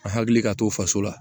An hakili ka to faso la